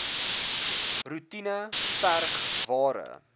roetine verg ware